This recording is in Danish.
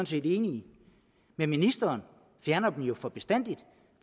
set enige i men ministeren fjerner dem jo for bestandig